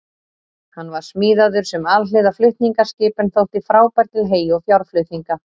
Hann var smíðaður sem alhliða flutningaskip en þótti frábær til hey- og fjárflutninga.